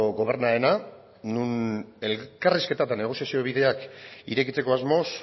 gobernuarena non elkarrizketa eta negoziazio bideak irekitzeko asmoz